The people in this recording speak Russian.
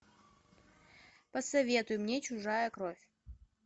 посоветуй мне чужая кровь